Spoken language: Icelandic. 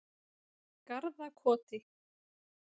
Garðakoti